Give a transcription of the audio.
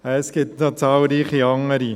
Es gibt noch zahlreiche andere.